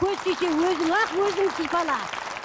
көз тисе өзің ақ өзің сипала